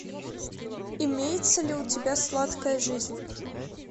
имеется ли у тебя сладкая жизнь